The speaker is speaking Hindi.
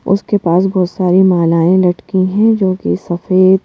उसके पास बहुत सारी मालाएं लटकी हैं जो कि सफेद--